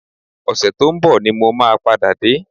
Ọ̀sẹ̀ tó ń bọ̀ ni mo máa padà dé